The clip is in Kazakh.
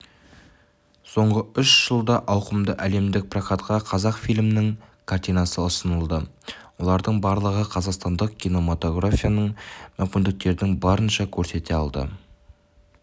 соңғы үш жылдаауқымды әлемдік прокатқа қазақфильмнің картинасы ұсынылды олардың барлығы қазақстандық кинематографтың мүмкіндіктерін барынша көрсете алды